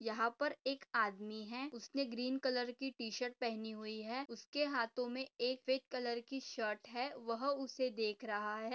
यहा पर एक आदमी है। उसने ग्रीन कलर की टीशर्ट पहनि हुई है। उसके हाथों मे एक शर्ट है। वह उसे देख रहा है।